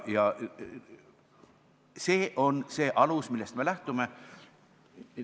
See on see alus, millest me lähtume.